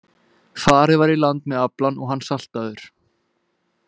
Farið var í land með aflann og hann saltaður.